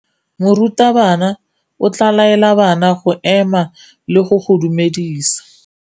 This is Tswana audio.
Morutabana o tla laela bana go ema le go go dumedisa.